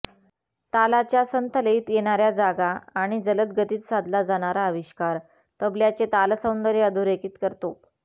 तालाच्या संथ लयीत येणाऱ्या जागा आणि जलद गतीत साधला जाणारा आविष्कार तबल्याचे तालसौंदर्य अधोरेखित करतो